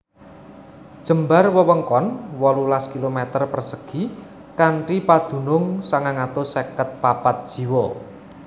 Jembar wewengkon wolulas km persegi kanthi padunung sangang atus seket papat jiwa